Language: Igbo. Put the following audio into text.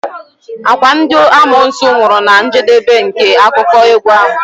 Okwa ndị amoosu nwụrụ na njedebe nke akụkọ egwu ahụ?